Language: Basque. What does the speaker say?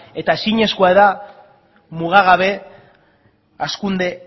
eta ezinezkoa da mugagabe hazkunde